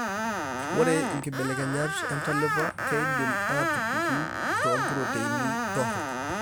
Ore inkibelekenyat entalipa keidim aatupuku toompuroteini terok.